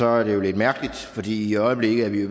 er det lidt mærkeligt fordi i øjeblikket er vi